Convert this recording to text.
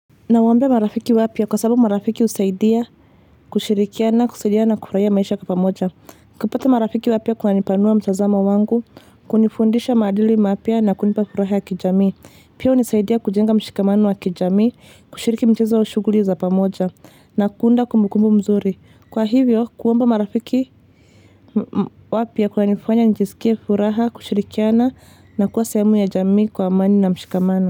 Nawaombea marafiki wapya kwa sababu marafiki husaidia, kushirikiana, kusaidiana, na kufurahia maisha pamoja. Kupata marafiki wapya kunanipanua mtazamo wangu, kunifundisha maadili mapya na kunipa furaha ya kijami. Pia hunisaidia kujenga mshikamano wa kijami, kushiriki mchezo au shughuli za pamoja, na kuunda kumbukumbu mzuri. Kwa hivyo, kuomba marafiki wapya kunanifanya njisikie furaha, kushirikiana na kuwa sehemu ya jamii kwa amani na mshikamano.